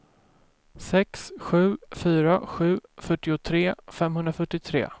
sex sju fyra sju fyrtiotre femhundrafyrtiotre